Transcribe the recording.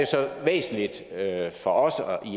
væsentlige for os